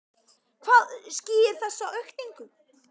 Hvað skýrir þessa aukningu?